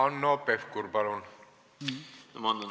Hanno Pevkur, palun!